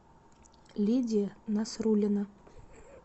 лидия насруллина